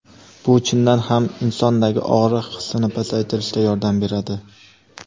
bu chindan ham insondagi og‘riq hissini pasaytirishda yordam beradi.